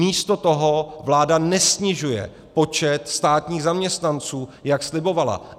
Místo toho vláda nesnižuje počet státních zaměstnanců, jak slibovala.